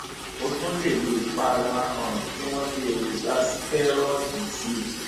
o tún lè lo ìpara um tí wọn fi èròjà sítẹrọọdì ṣe